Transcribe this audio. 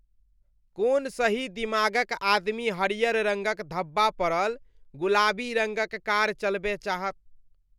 कोन सही दिमाग क आदमी हरियर रङ्गक धब्बा पड़ल, गुलाबी रङ्गक कार चलबय चाहत?